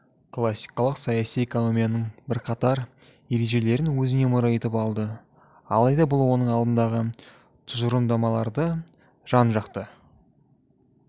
классикалық саяси экономияның бірқатар ережелерін өзіне мұра етіп алды алайда бұл оның алдындағы тұжырымдамаларды жан жақты